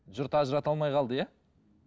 жұрт ажырата алмай қалды иә